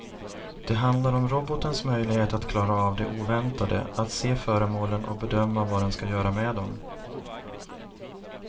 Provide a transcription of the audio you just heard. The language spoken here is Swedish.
Det handlar om robotens möjlighet att klara av det oväntade, att se föremålen och bedöma vad den ska göra med dem.